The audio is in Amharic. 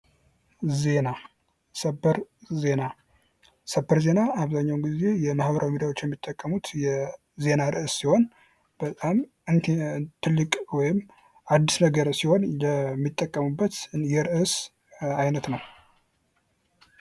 ዜና ሰበር ዜና:- ሰበር ዜና አብዛኛዉን ጊዜ የማህበራዊ ሚዲያዎች የሚጠቀሙት የዜና ርዕስ ሲሆን በጣም ትልቅ ወይም አዲስ ነገር ሲሆን የሚጠቀሙበት የርዕስ አይነት ነዉ።